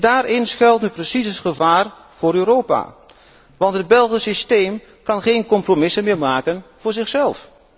Daarin schuilt nu precies het gevaar voor Europa, want het Belgisch systeem kan geen compromissen meer maken voor zichzelf.